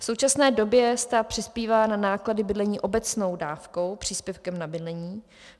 V současné době stát přispívá na náklady bydlení obecnou dávkou, příspěvkem na bydlení.